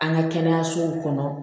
An ka kɛnɛyasow kɔnɔ